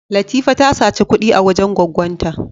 Latifa ta saci kud'i a wajen gwaggon ta.